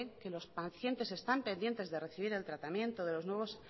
que los pacientes están pendientes de recibir el tratamiento de los nuevos